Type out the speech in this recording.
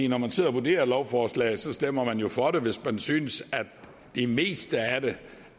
når man sidder og vurderer et lovforslag stemmer man jo for det hvis man synes at det meste af det